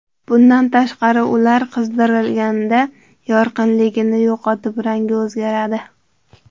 Bundan tashqari, ular qizdirilganda yorqinligini yo‘qotib, rangi o‘zgaradi.